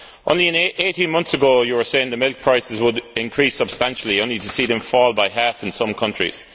Only 18 months ago, you were saying that milk prices would increase substantially, only to see them fall by half in some countries.